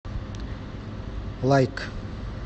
лайк